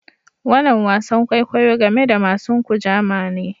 Wanan wasan kwaikwayo game da masun Kujama ne.